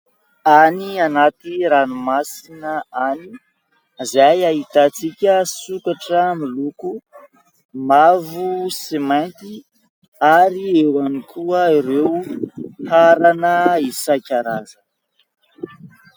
Any anaty ranomasina any izay ahitantsika sokatra miloko mavo sy mainty ary eo ihany koa ireo harana isankarazany.